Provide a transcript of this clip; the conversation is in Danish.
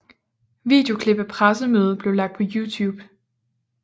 Videoklip af pressemødet blev lagt på Youtube